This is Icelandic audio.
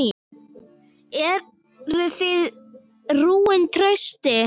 Eruð þið rúin trausti?